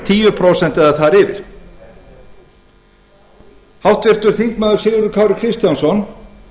tíu prósent eða þar yfir háttvirtur þingmaður sigurður kári kristjánsson